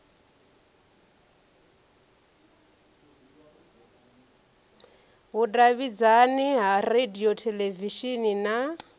vhudavhidzani ha radio theḽevishini na